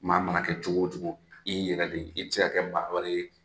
Maa mana kɛ cogo o cogo, i y'i yɛrɛ de. I tɛ se k'a kɛ maa wɛrɛ ye.